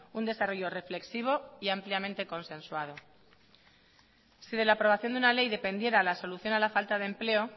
un desarrollo reflexivo y ampliamente consensuado si de la aprobación de una ley dependiera la solución a la falta de empleo